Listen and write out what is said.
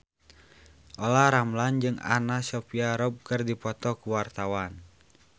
Olla Ramlan jeung Anna Sophia Robb keur dipoto ku wartawan